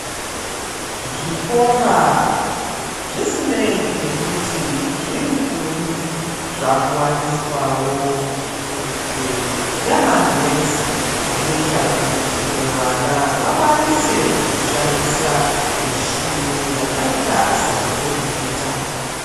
Zvikora zvisinei nekuti zvirikuri zvakuwaniswawo mwenje yamagetsi zvinoita kuti vana vakwanise kushandisa mishini yakaita samacompiyuta.